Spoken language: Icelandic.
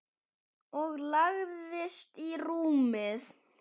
Og lagðist í rúmið.